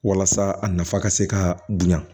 Walasa a nafa ka se ka dun yan